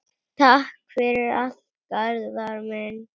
Takk fyrir allt, Garðar minn.